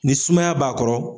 Ni sumaya b'a kɔrɔ.